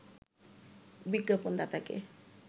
বিজ্ঞাপন দাতাকে